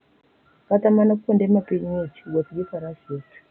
Kata mana kuonde ma piny ng'ich, wuoth gi faras yot.